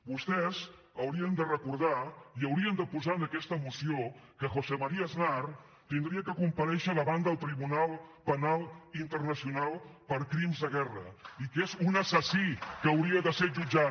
vostès haurien de recordar i haurien de posar en aquesta moció que josé maría aznar hauria de comparèixer davant del tribunal penal internacional per crims de guerra i que és un assassí que hauria de ser jutjat